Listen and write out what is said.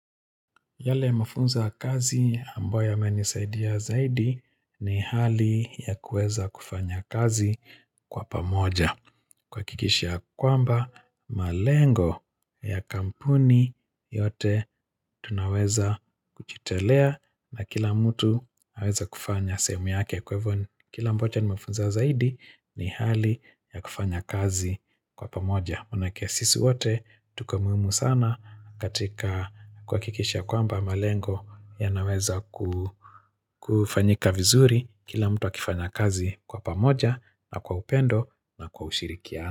Yale mafunzo kazi ambayo yamenisaidia zaidi ni hali ya kueza kufanya kazi kwa pamoja. Kuhakikisha ya kwamba malengo ya kampuni yote tunaweza kujitolea na kila mtu aweze kufanya sehemu yake kwa hivyo kile ambacho nimefunza zaidi ni hali ya kufanya kazi kwa pamoja. Maanake sisi wote tuko muhimu sana katika kuhakikisha ya kwamba malengo yanaweza kufanyika vizuri kila mtu akifanya kazi kwa pamoja na kwa upendo na kwa ushirikiano.